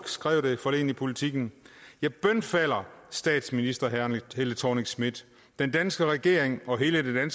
skrev i politiken jeg bønfalder statsminister helle thorning schmidt den danske regering og hele det